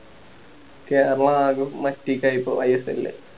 ചെല ഭാഗം മാറ്റിട്ട ഇപ്പൊ ISL ല്